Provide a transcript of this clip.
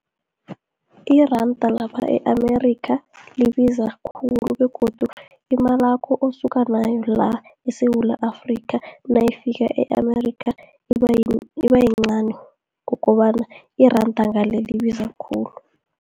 Iranda lapha e-Amerikha libiza khulu, begodu imalakho osuka nayo la, eSewula Afrika, nayifika e-Amerika iba yincani ngokobana iranda ngale, libiza khulu.